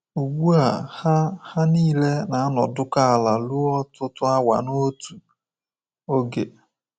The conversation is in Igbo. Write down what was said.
Ugbu a, ha ha niile na-anọdụkọ ala ruo ọtụtụ awa n’otu oge